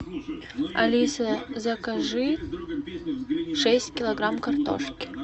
алиса закажи шесть килограмм картошки